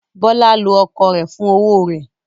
Bọ́lá lo ọkọ rẹ̀ fún owó rẹ̀.